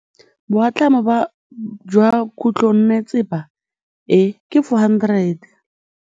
Boatlhamô jwa khutlonnetsepa e, ke 400.